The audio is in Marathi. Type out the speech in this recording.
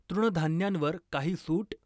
तृणधान्यांवर काही सूट?